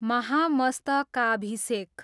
महामस्तकाभिषेक